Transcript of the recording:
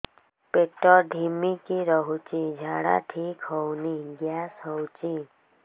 ପେଟ ଢିମିକି ରହୁଛି ଝାଡା ଠିକ୍ ହଉନି ଗ୍ୟାସ ହଉଚି